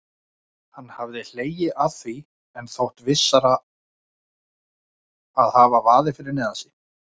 Hann hafði hlegið að því en þótt vissara að hafa vaðið fyrir neðan sig.